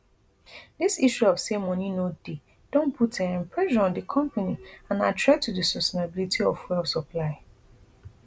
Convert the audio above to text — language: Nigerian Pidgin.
dis issue of say money no dey don put um pressure on di company and na threat to di sustainability of fuel supply